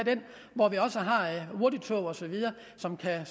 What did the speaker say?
hvor vi også har hurtigtog osv som kan